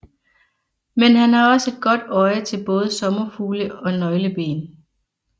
Men han har også et godt øje til både sommerfugle og nøgleben